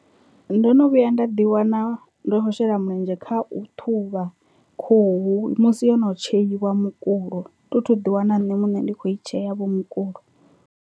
Ndo no vhuya nda ḓi wana ndi kho shela mulenzhe kha u ṱhuvha khuhu musi yo no tsheiwa mukulo thi thu ḓi wana nṋe muṋe ndi kho i tshea vho mukulo.